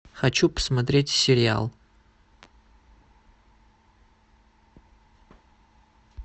хочу посмотреть сериал